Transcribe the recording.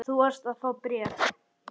Þú varst að fá bréf.